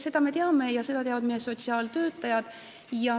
Seda me teame ja seda teavad sotsiaaltöötajad.